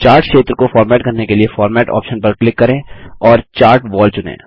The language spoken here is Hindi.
चार्ट क्षेत्र को फ़ॉर्मेट करने के लिए फॉर्मेट ऑप्शन पर क्लिक करें और चार्ट वॉल चुनें